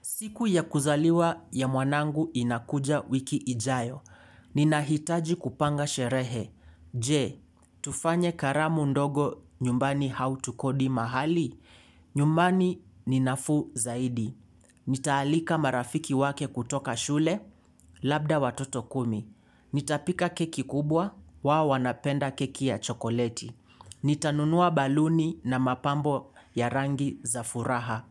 Siku ya kuzaliwa ya mwanangu inakuja wiki ijayo. Ninahitaji kupanga sherehe. Je, tufanye karamu ndogo nyumbani hau tukodi mahali. Nyumbani ni nafuu zaidi. Nitaalika marafiki wake kutoka shule. Labda watoto kumi. Nitapika keki kubwa. Wao wanapenda keki ya chokoleti. Nitanunua baluni na mapambo ya rangi za furaha.